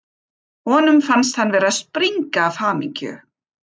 Honum fannst hann vera að springa af hamingju.